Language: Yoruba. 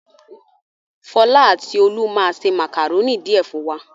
Fọlá àti Olú máa se màkàrónì díẹ̀ fún wa.